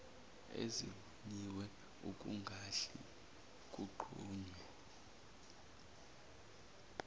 ezivunyiwe ekungahle kunqunywe